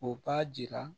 O b'a jira